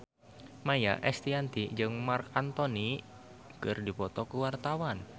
Maia Estianty jeung Marc Anthony keur dipoto ku wartawan